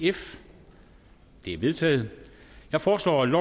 er vedtaget jeg foreslår at